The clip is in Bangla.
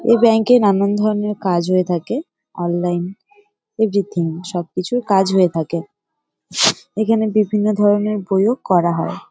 এই ব্যাঙ্ক -এ নানান ধরণের কাজ হয়ে থাকে অনলাইন এভরিথিং । সব কিছু কাজ হয়ে থাকে। এখানে বিভিন্ন ধরনের বইও করা হয় ।